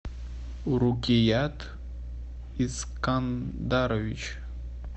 урукият искандарович